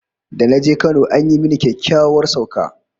Da na je Kano an yi mini kyakkyawar sauka